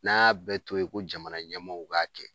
N'an y'a bɛɛ to yen ko jamana ɲɛmɔw k'a kɛ